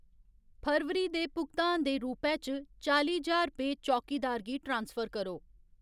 फरवरी दे भुगतान दे रूपै च चाली ज्हार रपेऽ चौकीदार गी ट्रांसफर करो।